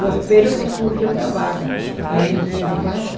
Eu espero que surja uma vaga aí no Instituto do Coração.